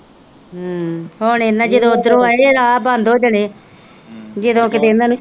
ਹਮ ਹੁਣ ਇਹਨਾਂ ਜਦੋ ਓਧਰੋਂ ਆਏ ਰਾਹ ਬੰਦ ਹੋ ਜਾਣੇ ਜਦੋ ਕਿਤੇ ਇਹਨਾਂ ਨੇ।